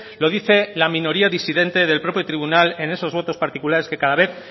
lo dice la minoría disidente del propio tribunal en esos votos particulares que cada vez